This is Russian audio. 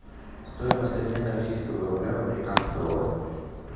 стоимость обмена российского рубля в американский доллар